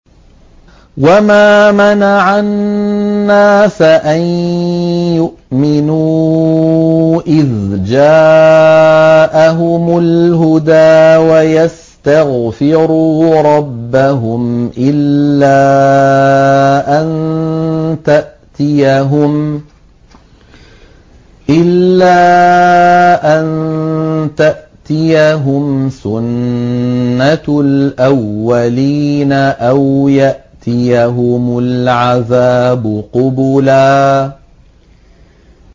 وَمَا مَنَعَ النَّاسَ أَن يُؤْمِنُوا إِذْ جَاءَهُمُ الْهُدَىٰ وَيَسْتَغْفِرُوا رَبَّهُمْ إِلَّا أَن تَأْتِيَهُمْ سُنَّةُ الْأَوَّلِينَ أَوْ يَأْتِيَهُمُ الْعَذَابُ قُبُلًا